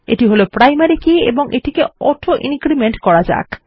এটি হলো primary key এবং এটিকে অটো ইনক্রিমেন্ট করা যাক